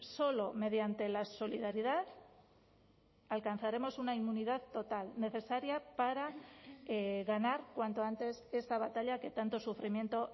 solo mediante la solidaridad alcanzaremos una inmunidad total necesaria para ganar cuanto antes esta batalla que tanto sufrimiento